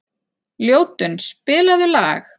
Ljótunn, spilaðu lag.